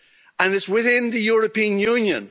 And it's within the European Union.